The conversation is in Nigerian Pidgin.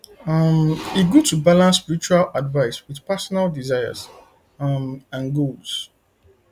um e good to balance spiritual advice with personal desires um and goals